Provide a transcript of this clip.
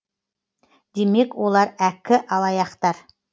демек олар әккі алаяқтар